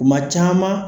Kuma caman